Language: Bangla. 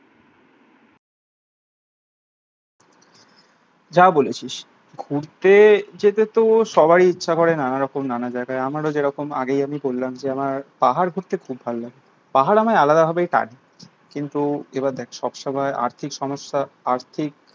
যা বলেছিস ঘুরতে যেতে তো সবারই ইচ্ছে করে নানা রকম নানা জায়গায়। আমারও যেরকম আগে আগেই আমি কল্যাণকে আমার পাহাড় ঘুরতে খুব ভালো লাগে। পাহাড় আমায় আলাদাভাবে টানে। কিন্তু এবার দেখ সব সময় আর্থিক সমস্যা আর্থিক